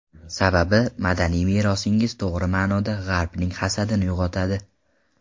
Sababi, madaniy merosingiz, to‘g‘ri ma’noda, G‘arbning hasadini uyg‘otadi.